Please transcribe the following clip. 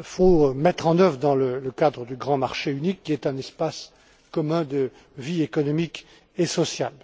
faut mettre en œuvre dans le cadre du grand marché unique, qui est un espace commun de vie économique et sociale.